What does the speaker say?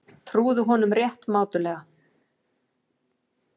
Trúðu honum rétt mátulega.